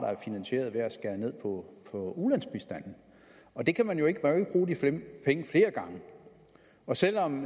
er finansieret ved at skære ned på ulandsbistanden man kan jo ikke bruge de penge flere gange og selv om